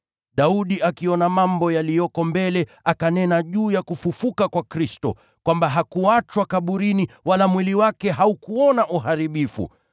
Daudi, akiona mambo yaliyoko mbele, akanena juu ya kufufuka kwa Kristo, kwamba hakuachwa kaburini, wala mwili wake haukuona uharibifu.